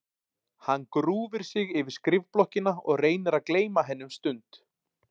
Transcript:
Hann grúfir sig yfir skrifblokkina og reynir að gleyma henni um stund.